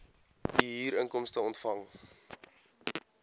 u huurinkomste ontvang